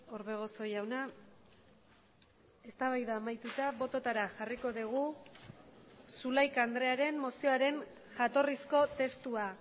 orbegozo jauna eztabaida amaituta bototara jarriko dugu zulaika andrearen mozioaren jatorrizko testua